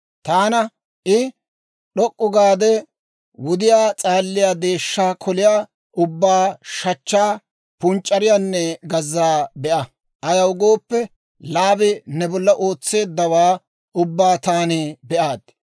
Taana I, d'ok'k'u gaade wudiyaa s'aaliyaa deeshshaa koliyaa ubbaa shachchaa, punc'c'ariyaanne gazzaa be'a; ayaw gooppe, Laabi ne bolla ootsiyaawaa ubbaa taani be'aaddi.